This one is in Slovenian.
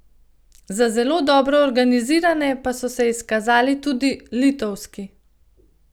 Za zelo dobro organizirane pa so se izkazali tudi litovski.